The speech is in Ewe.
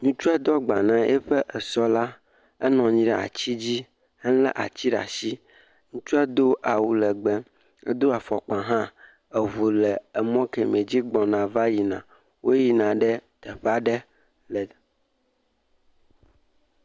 Ŋutsua do agba na eƒe esɔ la, enɔnyi ɖe atsi dzi, elé atsi ɖe ashi, ŋutsua do awu legbee, edo afɔkpa hã, eʋu le emɔ keme dzi gbɔna va yi na, wo yi na ɖe teƒa ɖe le.